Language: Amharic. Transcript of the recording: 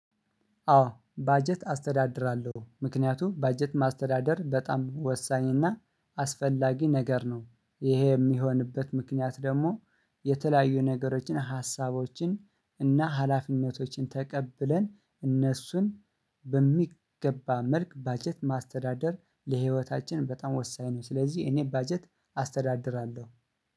አዎ ባጀት አስተዳድራለሁ ምክንያቱም ባጀት ማስተዳደር በጣም ወሳኝ እና አስፈላጊ ነገር ነው ይሄ የሚሆንበት ምክንያት ደግሞ የተለያዩ ነገሮችን ሀሳቦችን እና ሀላፊነቶችን ተቀብለን እነሱን በሚገባ መልክ ባጀት ማስተዳደር ለህይወታችን በጣም ወሳኝ ነው። ስለዚህ እኔ ባጀት አስተዳድራለሁ